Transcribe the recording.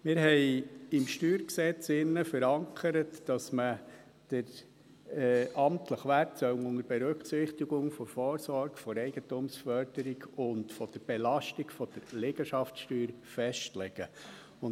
Wir haben im StG verankert, dass man den amtlichen Wert unter Berücksichtigung der Vorsorge der Eigentumsförderung und der Belastung der Liegenschaftssteuer festlegen soll.